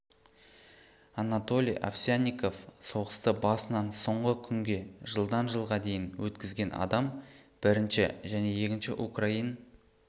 анатолий овсянников соғысты басынан соңғы күнге жылдан жылға дейін өткізген адам бірінші және екінші украин